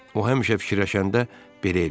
O həmişə fikirləşəndə belə eləyərdi.